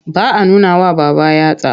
Ba a nunawa babba yatsa.